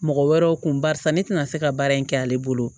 Mɔgɔ wɛrɛw kun barisa ne tɛna se ka baara in kɛ ale bolo